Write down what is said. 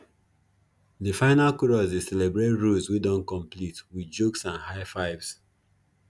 de final chorus dey celebrate rows wey don complete wit jokes and high fives